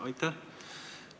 Aitäh!